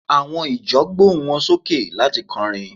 àwọn ìjọ gbohun wan soke lati kọrin